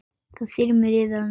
Það þyrmir yfir hana.